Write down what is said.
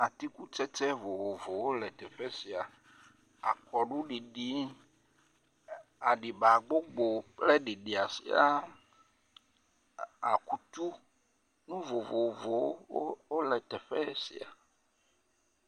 Atikutsɛtsɛ vovovowo le teƒe sia. Akɔɖuɖiɖi, aɖiba gbogbo kple ɖiɖia sia. Akutu nuvovowo le teƒe sia.